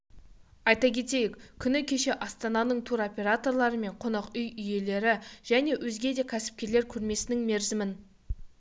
айта кетейік күні кеше астананың туроператорлары мен қонақ үй иелері және өзге де кәсіпкерлер көрмесінің мерзімін